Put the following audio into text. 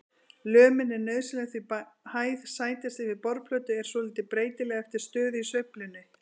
Lömin er nauðsynleg því hæð sætis yfir borðplötu er svolítið breytileg eftir stöðu í sveiflunni.